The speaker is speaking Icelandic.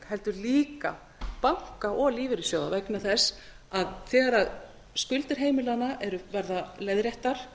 heldur líka banka og lífeyrissjóða vegna þess að þegar skuldir heimilanna verða leiðréttar